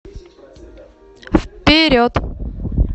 вперед